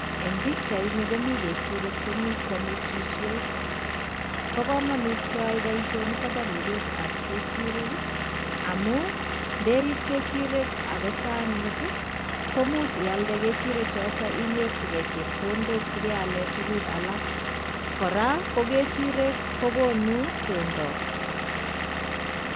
Eng pikchaini komi kechirek chemi kwome suswek. Bo komanut keyae boishonito bo ripetap kechirek amu nderip kechirek akochang'it, komuch ialde kechirechoto inyorchikei chepkondok chekeale tuguk alak. Kora, ko kechirek kokonu bendo.